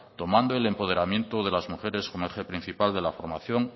tomando el empoderamiento de las mujeres con eje principal de la formación